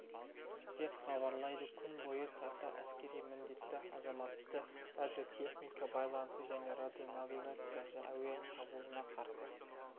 деп хабарлайды күн бойы тарта әскери міндетті азамат радиотехника байланыс және радионавигация әуе шабуылына қарсы